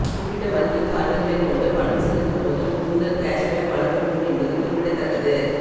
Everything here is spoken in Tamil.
குறிப்பிட்ட வங்கி கார்டுகளை கொண்டு பணம் செலுத்தும் போது கூடுதல் கேஷ்பேக் வழங்கப்படும் என்பது குறிப்பிடத்தக்கது